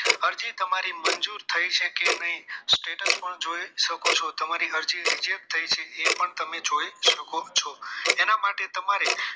અરજી તમારી મંજૂર થઈ છે કે નહીં status પણ જોઈ શકો છો તમારી અરજી reject થઈ છે એ પણ જોઈ શકો છો એના માટે તમારે